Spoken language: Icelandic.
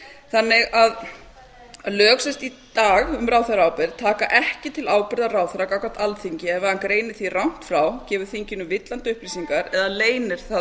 þannig að lög í dag um ráðherraábyrgð taka ekki til ábyrgða ráðherra gagnvart alþingi ef hann greinir því rangt frá gefur þinginu villandi upplýsingar eða leynir það